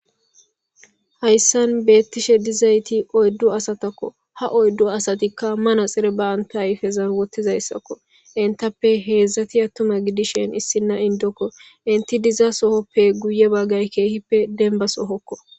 hayssan beettishe dizayti oyddu asatakko ha oyddu asatikka mana xire ba anta ayfezan wottizayssakko intappe heedzdzati attuma gidishen issinna indokko inti diza sohoppe guye baggay keehippe denba sohokko